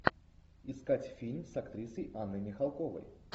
искать фильм с актрисой анной михалковой